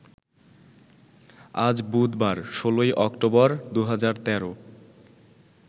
আজ বুধবার ১৬ই অক্টোবর ২০১৩